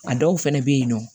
A dɔw fɛnɛ bɛ yen nɔ